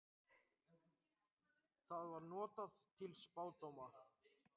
Það var notað til spádóma.